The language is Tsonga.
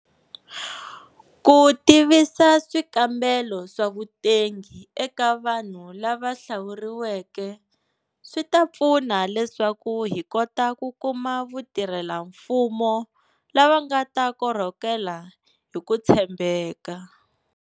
Ku tivisa swikambelo swa vutengi eka vanhu lava hlawuriweke swi ta pfuna leswaku hi kota ku kuma vatirhelamfumo lava nga ta korhokela hi ku tshembeka.